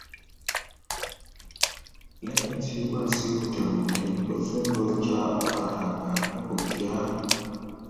lẹyìn tí wàṣíù tẹwọn dé ló tún lọọ já ọkadà gbà nipòkíà